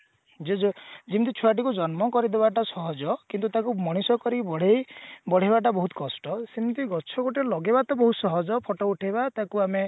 ଯୋଉ ଯୋଉ ଯେମତି ଛୁଆଟିକୁ ଜନ୍ମ କରିଦବା ଟା ସହଜ କିନ୍ତୁ ତାକୁ ମଣିଷ କରି ବଢେଇ ବଢେଇବା ଟା ବହୁତ କଷ୍ଟ ସେମଟି ଗଛ ଗୋଟେ ଲଗେଇବାଟା ବହୁତ ସହଜ photo ଉଠେଇବା ତାକୁ ଆମେ